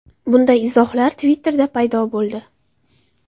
Bunday izohlar Twitter’da paydo bo‘ldi.